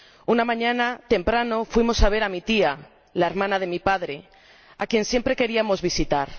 Una mañana, temprano, fuimos a ver a mi tía, la hermana de mi padre, a quien siempre queríamos visitar.